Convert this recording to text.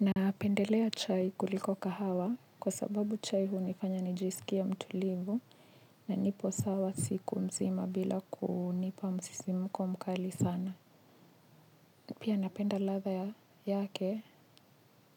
Napendelea chai kuliko kahawa kwa sababu chai hunifanya nijisikie mtulivu na nipo sawa siku mzima bila kunipa msisimuko mkali sana. Pia napenda ladha yake